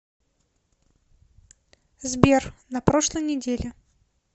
сбер на прошлой неделе